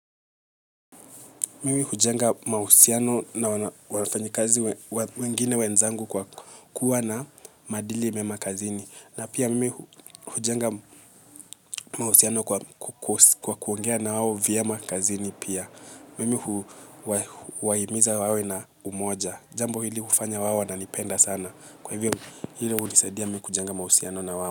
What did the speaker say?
Mimi hujenga mahusiano na wafanyikazi wengine wenzangu kwa kuwa na maadili mema kazini. Na pia mimi hujenga mahusiano kwa kuongea nao vyema kazini pia. Mimi huwahimiza wawe na umoja. Jambo hili hufanya wao wananipenda sana. Kwa hivyo hili hunisaidia mimi kujenga mahusiano na wao.